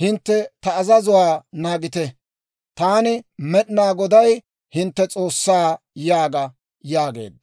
hintte ta azazuwaa naagite; Taani, Med'inaa Goday, hintte S'oossaa› yaaga» yaageedda.